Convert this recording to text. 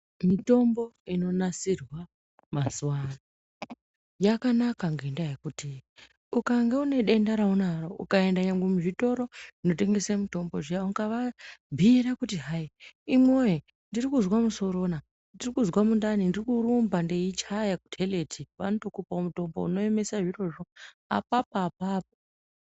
Mutombo inonasirwa mazuwa ano yakanaka ngendaa yekuti ukange une denda raunaro ukaenda nyangwe muzvitoro zvinotengesa mutombo zviya ukavabhira kuti imi woye ndirikuzwa musorona ndirikuzwa mundani ndiri kurumba ndichaya kuteleti vanotokupawo mutombo unoemesa zvirozvo apapo apapo